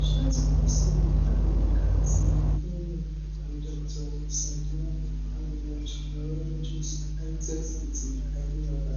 ṣé o tumọ sí ìdágbò ìkà ati ìfẹlẹ ni dr sandhya manorenj neurologist hitech city hyderabad